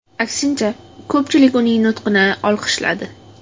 Aksincha, ko‘pchilik uning nutqini olqishladi.